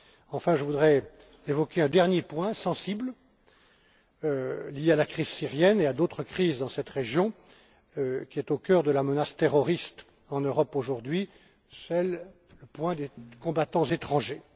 pays. Enfin, je voudrais évoquer un dernier point sensible lié à la crise syrienne et à d'autres crises dans cette région, qui est au cœur de la menace terroriste en Europe aujourd'hui les combattants étrangers.